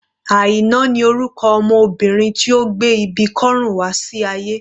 Aina ni orúkọ ọmọ Obìnrin tí ó gbé ibi kọ́rùn wá sí ayé.